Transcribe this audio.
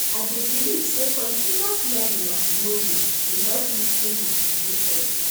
I dey believe say continous learning and growing dey help me stay motivated.